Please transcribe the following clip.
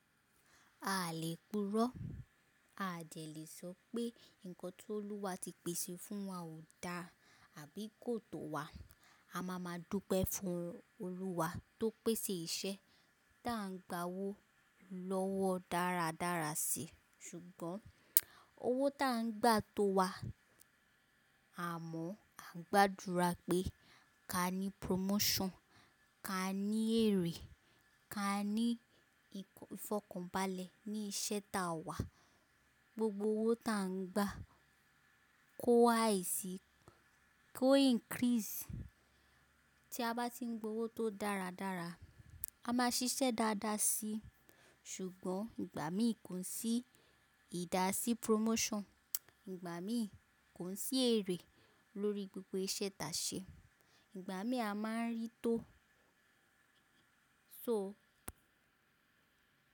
A lè puro, a jẹ̀ lè sọ pé nǹkan tó Olúwa ti pèsè fún wa ò dá àbí kò tọ̀ wa. A máa máa dúpẹ́ fún Olúwa tó pèsè iṣẹ́ tá ń gba owó lọ́wọ́ dáradára sí. Ṣùgbọ́n owó tá ń gba tó wa, àmọ́ à ń gbàdúrà pé ká ní promotion, ká ní èrè, ká ní ìfọ̀kànbalẹ̀ ní iṣẹ́ tá wà. Gbogbo owó tá ń gba kó wáì sí, kó increase. Tí a bá ti ń gba owó tó dáradára, a máa ṣiṣẹ́ dáadáa sí. Ṣùgbọ́n ìgbà mí kò sí ìdásí promotion, ìgbà mí kò sí èrè lórí gbogbo iṣẹ́ tá ṣe, ìgbà mí a máa rí tó. So.